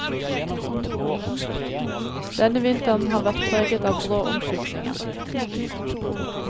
Denne vinteren har vært preget av brå omskiftninger.